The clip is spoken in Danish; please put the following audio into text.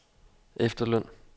efterløn